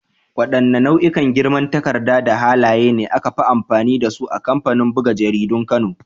Wadanne nau'ikan girman takarda da halaye ne aka fi amfani da su a kamfanin buga jaridun kano?